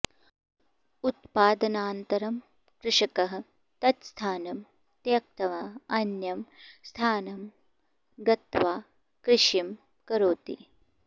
उत्पादनानन्तरं कृषकः तत्स्थानं त्यक्त्वा अन्यं स्थानं गत्वा कृषिं करोति